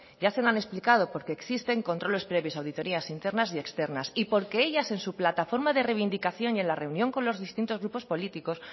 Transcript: ya se lo han explicado porque existen controles previos auditorías internas y externas y porque ellas en su plataforma de reivindicación y en la reunión con los distintos grupos políticos